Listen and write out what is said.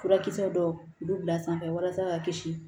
Furakisɛ dɔw bɛ bila sanfɛ walasa ka kisi